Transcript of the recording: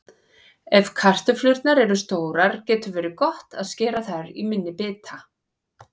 Ef kartöflurnar eru stórar getur verið gott að skera þær í minni bita.